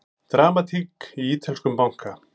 Dramatík í ítölskum banka